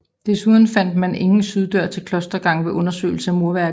Desuden fandt man ingen syddør til klostergangen ved undersøgelser af murværket